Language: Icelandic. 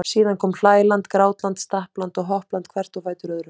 Síðan komu hlæland, grátland, stappland og hoppland hvert á fætur öðru.